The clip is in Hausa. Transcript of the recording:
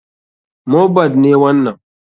Mohbad ne wanan.